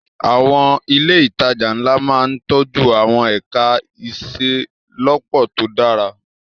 Àwọn ilé ìtajà ńlá máa ń tọ́jú àwọn ẹ̀ka ìṣelọ́pọ̀ tó dára.